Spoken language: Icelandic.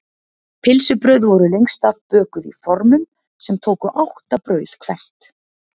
Pylsubrauð voru lengst af bökuð í formum sem tóku átta brauð hvert.